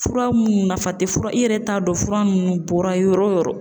Fura minnu nafa tɛ fura ,i yɛrɛ t'a dɔn fura ninnu bɔra yɔrɔ min.